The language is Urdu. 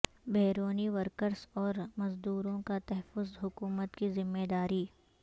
بیرونی ورکرس اور مزدوروں کا تحفظ حکومت کی ذمہ داری